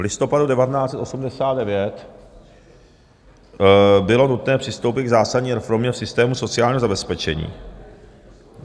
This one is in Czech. V listopadu 1989 bylo nutné přistoupit k zásadní reformě v systému sociálního zabezpečení.